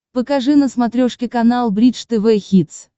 покажи на смотрешке канал бридж тв хитс